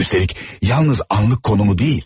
Üstəlik yalnız anlık konumu deyil.